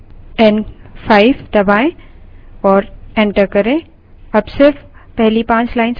up arrown5 दबायें और enter करें